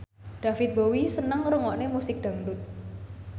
David Bowie seneng ngrungokne musik dangdut